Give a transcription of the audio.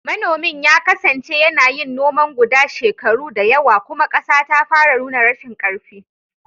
Manomin ya kasance yana yin noman guda shekaru da yawa, kuma ƙasa ta fara nuna rashin ƙarfi.